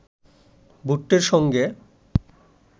ভুট্টোর সঙ্গে